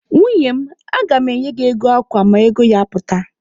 Nwunye m, aga mụ enye gị ego akwa ma ego ya pụta.